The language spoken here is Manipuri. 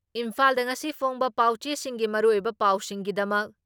ꯏꯝꯐꯥꯜꯗ ꯉꯁꯤ ꯐꯣꯡꯕ ꯄꯥꯎꯆꯦꯁꯤꯡꯒꯤ ꯃꯔꯨꯑꯣꯏꯕ ꯄꯥꯎꯁꯤꯡꯒꯤꯗꯃꯛ